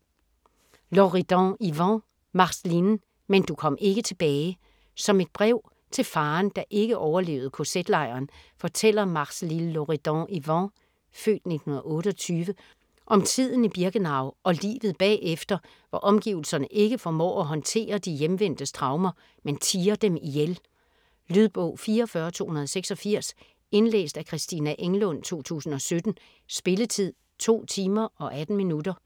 Loridan-Ivens, Marceline: Men du kom ikke tilbage Som et brev til faderen, der ikke overlevede kz-lejren, fortæller Marceline Loridan-Ivens (f. 1928) om tiden i Birkenau og livet bagefter, hvor omgivelserne ikke formår at håndtere de hjemvendtes traumer, men tier dem ihjel. Lydbog 44286 Indlæst af Christina Englund, 2017. Spilletid: 2 timer, 18 minutter.